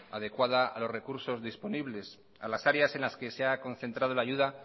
adecuada a los recursos disponibles a las áreas en las que se ha concentrado la ayuda